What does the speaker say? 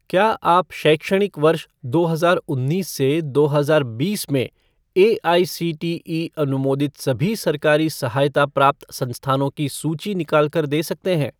क्या आप शैक्षणिक वर्ष दो हजार उन्नीस से दो हजार बीस में एआईसीटीई अनुमोदित सभी सरकारी सहायता प्राप्त संस्थानों की सूची निकाल कर दे सकते हैं?